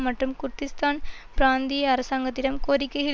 மற்றும் குர்திஷ்தான் பிராந்திய அரசாங்கத்திடம் கோரிக்கைகள்